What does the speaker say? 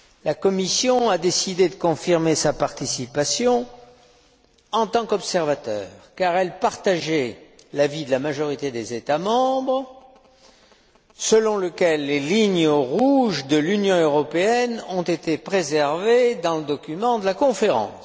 La Commission a décidé de confirmer sa participation en tant qu'observateur, car elle partageait l'avis de la majorité des États membres, selon lequel les lignes rouges de l'Union européenne ont été préservées dans le document de la conférence.